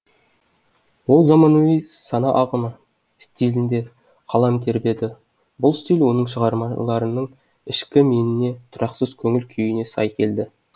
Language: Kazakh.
ол заманауи сана ағымы стилінде қалам тербеді бұл стиль оның шығармаларының ішкі меніне тұрақсыз көңіл күйіне сай келді